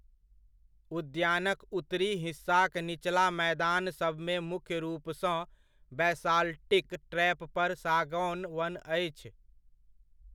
उद्यानक उत्तरी हिस्साक निचला मैदान सभमे मुख्य रूपसँ बैसाल्टिक ट्रैप पर सागौन वन अछि।